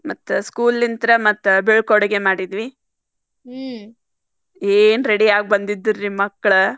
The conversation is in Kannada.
ಮತ್ತ್ school ಇಂತ್ರ ಮತ್ತ್ ಬಿಳ್ಕೊಡುಗೆ ಮಾಡಿದ್ವಿ ಏನ್ ready ಆಗಿ ಬಂದಿದ್ದರ್ರೀ ಮಳ್ಕ್.